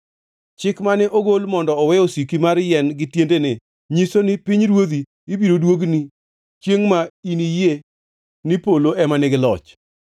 Chik mane ogol mondo owe osiki mar yien gi tiendene nyiso ni pinyruodhi ibiro duogni chiengʼ ma iniyie ni polo ema nigi loch.